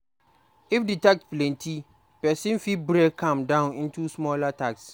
If di tasks plenty, person fit break am down into smaller tasks